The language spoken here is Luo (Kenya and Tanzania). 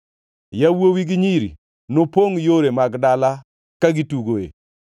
Yawuowi gi nyiri nopongʼ yore mag dala ka gitugoe.”